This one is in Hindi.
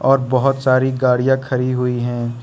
और बहुत सारी गाड़िया खड़ी हुई है।